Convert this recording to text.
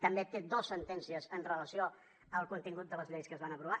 també té dos sentències amb relació al contingut de les lleis que es van aprovar